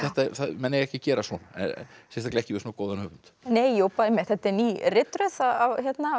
menn eiga ekki að gera svona sérstaklega ekki við svona góðan höfund nei einmitt þetta er ný ritröð af